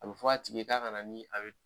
A bɛ fɔ a tigi ye k'a ka na ni a bɛ